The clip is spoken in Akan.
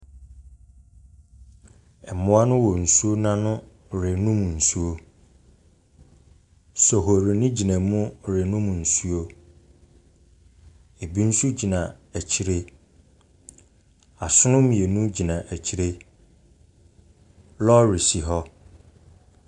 Mmoa no wɔ nsuo no ano renom nsuo. Sohori no gyina mu renom nsuo. Ebi nso gyina akyire. Asono mmienu gyina akyire. Lɔre si hɔ.